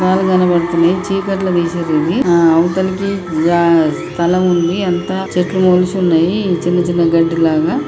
రాళ్లు కనబడుతున్నాయి. చీకట్ల తిసిండ్రు ఇది. ఆ అవతలికి గా స్థలం ఉంది. అంత చెట్లు మొలిచున్నాయి చిన్న చిన్న గడ్డి లాగా--